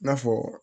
I n'a fɔ